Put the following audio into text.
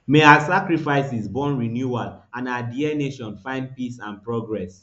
may our sacrifices born renewal and our dear nation find peace and progress